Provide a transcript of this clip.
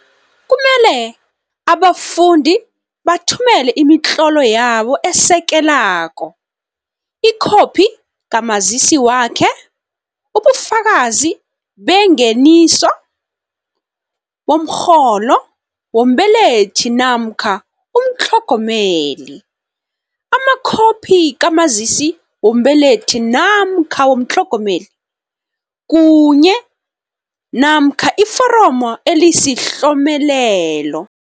Kumele abafundi bathumele imitlolo yabo esekelako, ikhophi kaMazisi wakhe, ubufakazi bengeniso, bomrholo wombelethi namkha umtlhogomeli, amakhophi kaMazisi wombelethi namkha womtlhogomeli, kunye, namkha iforomo elisiHlomelelo